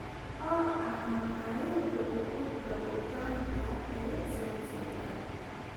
oo ah makhaayadda ugu dhow Uganda ee Zanzibari